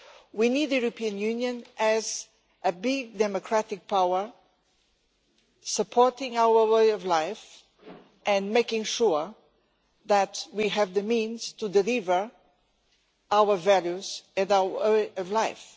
We need the European Union to be a big democratic power, supporting our way of life and making sure that we have the means to deliver our values and our way of life.